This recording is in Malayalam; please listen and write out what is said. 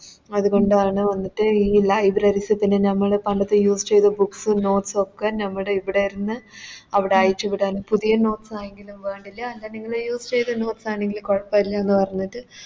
അതുകൊണ്ടാണ് മറ്റെ ഈ അല്ല നമ്മള് പണ്ടൊക്കെ Use ചെയ്ത Books ഉം Notes ഒക്കെ നമ്മുടെ ഇവിടെന്ന് അവിടെ അയച്ച് വിടാൻ പുതിയ Notes ആണെങ്കിലും വേണ്ടില്ല എന്താ നിങ്ങള് Use ചെയ്ത Notes ആണെങ്കിലും കൊഴപ്പില്ലന്ന് പറഞ്ഞിട്ട്